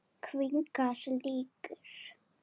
Kvikar líkur.